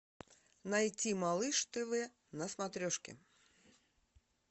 найти малыш тв на смотрешке